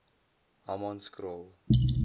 hammanskraal